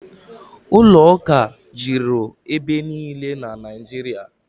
Ụlọụka juru ebe niile na Naịjirịa